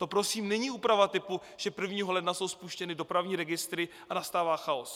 To prosím není úprava typu, že 1. ledna jsou spuštěny dopravní registry a nastává chaos.